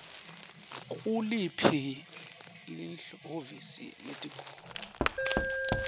nguliphi lihhovisi lelitiko